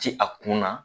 Ti a kun na